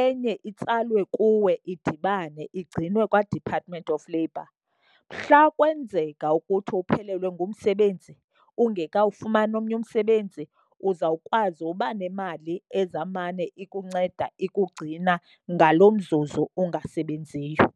enye itsalwe kuwe idibane igcinwe kwaDepartment of Labor. Mhla kwenzeka ukuthi uphelelwe ngumsebenzi ungekawufumani omnye umsebenzi uzawukwazi uba nemali ezawumane ikunceda ikugcina ngalo mzuzu ungasebenziyo.